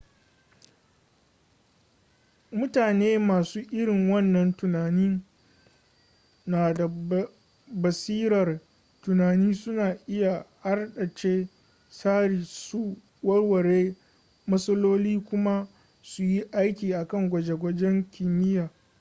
mutane masu irin wannan tunanin na da basirar tunani suna iya hardace tsari su warware matsaloli kuma su yi aiki akan gwaje-gwajen kimiyya